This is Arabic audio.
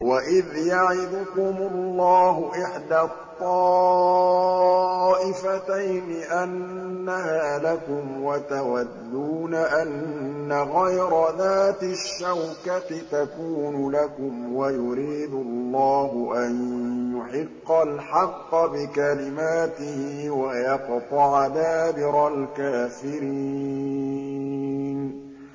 وَإِذْ يَعِدُكُمُ اللَّهُ إِحْدَى الطَّائِفَتَيْنِ أَنَّهَا لَكُمْ وَتَوَدُّونَ أَنَّ غَيْرَ ذَاتِ الشَّوْكَةِ تَكُونُ لَكُمْ وَيُرِيدُ اللَّهُ أَن يُحِقَّ الْحَقَّ بِكَلِمَاتِهِ وَيَقْطَعَ دَابِرَ الْكَافِرِينَ